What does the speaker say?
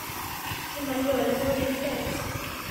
Keimarita oleng lotii seel